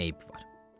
Nə eyib var?